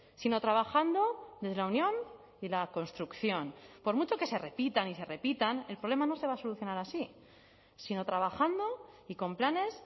sino trabajando desde la unión y la construcción por mucho que se repitan y se repitan el problema no se va a solucionar así sino trabajando y con planes